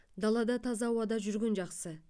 далада таза ауада жүрген жақсы